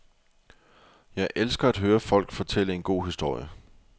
Jeg elsker at høre folk fortælle en god historie.